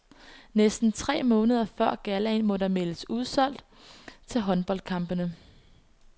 Næsten tre måneder før gallaen må der meldes udsolgt til håndboldkampene.